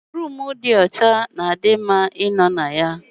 Roomu dị ọcha na di mma ịnọ na ya